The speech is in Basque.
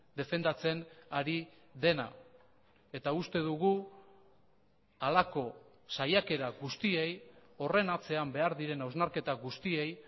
defendatzen ari dena eta uste dugu halako saiakera guztiei horren atzean behar diren hausnarketa guztiei